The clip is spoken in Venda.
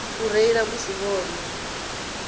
u reila musi vho nwa